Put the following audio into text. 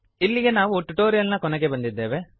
ಇಲ್ಲಿಗೆ ನಾವು ಟ್ಯುಟೋರಿಯಲ್ ನ ಕೊನೆಗೆ ಬಂದಿದ್ದೇವೆ